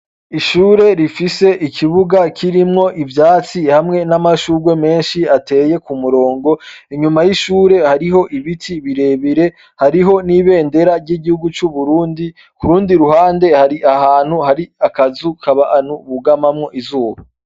Ishure rifise ikibuga kirimwo ivyatsi hamwe n'amashurwe menshi ateye k'umurongo, inyuma y'ishure hariho ibiti birebire, hariho n'ibendera ry'igihugu c'Uburundi k'urundi ruhande hari ahantu hari akazu k'abantu bugamamwo izuba.